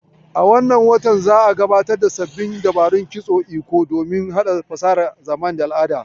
A watan nan za'a gabatar da sabbin dabarbarun kitson Iko domin haɗa fasahar zamani da al'ada